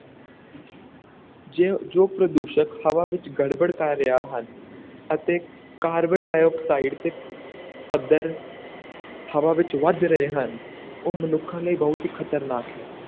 ਜੇ ਜੋ ਪ੍ਰਦੂਸ਼ਕ ਹਵਾ ਵਿੱਚ ਗੜਬੜ ਕਰ ਰਹੇ ਹਨ ਅਤੇ ਕਾਰਬਨ ਡਾਈਆਕਸਾਈਡ ਦੇ ਪੱਧਰ ਹਵਾ ਵਿੱਚ ਵੱਧ ਰਹੇ ਹਨ, ਉਹ ਮਨੁੱਖਾਂ ਲਈ ਬਹੁਤ ਹੀ ਖਤਰਨਾਕ ਹੈ।